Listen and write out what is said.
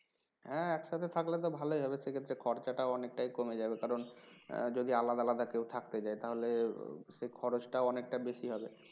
হ্যাঁ একসাথে থাকলে তো ভালই হবে সে ক্ষেত্রে খরচা অনেকটাই কমে যাবে কারণ যদি আলাদা আলাদা কেউ থাকতে চায় তাহলে সেই খরচটা অনেকটাই বেশি হবে